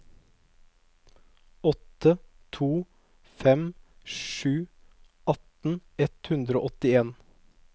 åtte to fem sju atten ett hundre og åttien